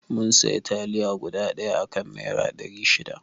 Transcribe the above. Mun sayi taliya guda ɗaya a kan naira ɗari shida